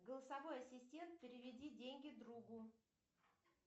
голосовой ассистент переведи деньги другу